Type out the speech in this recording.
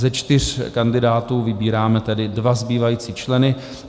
Ze čtyř kandidátů vybíráme tedy dva zbývající členy.